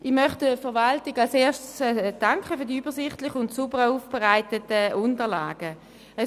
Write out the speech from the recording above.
Ich möchte der Verwaltung zuerst für die übersichtlich und sauber aufbereiteten Unterlagen danken.